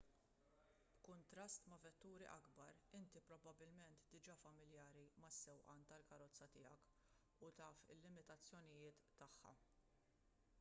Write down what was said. b'kuntrast ma' vetturi akbar inti probabbilment diġà familjari mas-sewqan tal-karozza tiegħek u taf il-limitazzjonijiet tagħha